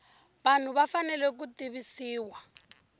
vanhu va fanele ku tivisiwa